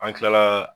An kilala